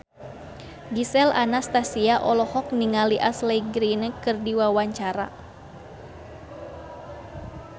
Gisel Anastasia olohok ningali Ashley Greene keur diwawancara